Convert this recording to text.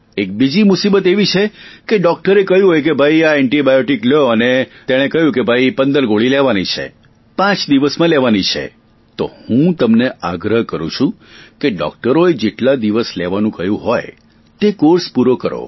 એક બીજી મુસીબત આવી છે કે ડોકટરે કહ્યું હોય કે ભાઈ આ એન્ટિબાયોટિક લ્યો અને તેણે કહ્યું કે ભાઇ 15 ગોળી લેવાની છે પાંચ દિવસમાં લેવાની છે તો હું તમને આગ્રહ કરું છુ કે ડોકટરોએ જેટલા દિવસ લેવા કહ્યું હોય તે કોર્સ પૂરો કરો